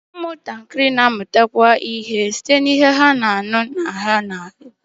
Ụmụntakịrị na-amụtakwu ihe site n'ihe ha na-ahụ na ihe ha na-anụ